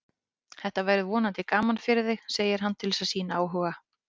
Þetta verður vonandi gaman fyrir þig, segir hann til að sýna áhuga.